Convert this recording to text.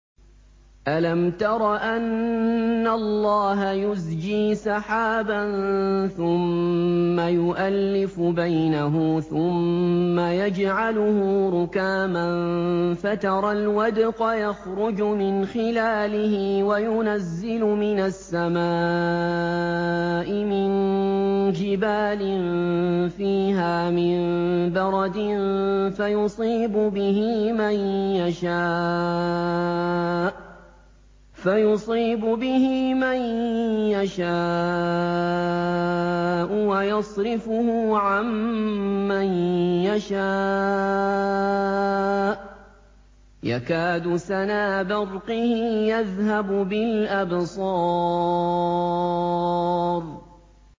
أَلَمْ تَرَ أَنَّ اللَّهَ يُزْجِي سَحَابًا ثُمَّ يُؤَلِّفُ بَيْنَهُ ثُمَّ يَجْعَلُهُ رُكَامًا فَتَرَى الْوَدْقَ يَخْرُجُ مِنْ خِلَالِهِ وَيُنَزِّلُ مِنَ السَّمَاءِ مِن جِبَالٍ فِيهَا مِن بَرَدٍ فَيُصِيبُ بِهِ مَن يَشَاءُ وَيَصْرِفُهُ عَن مَّن يَشَاءُ ۖ يَكَادُ سَنَا بَرْقِهِ يَذْهَبُ بِالْأَبْصَارِ